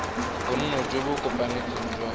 bonno jo bo kopanetsweng jwa